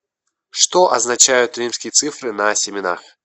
что означают римские цифры на семенах